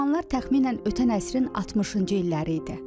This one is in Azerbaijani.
O zamanlar təxminən ötən əsrin 60-cı illəri idi.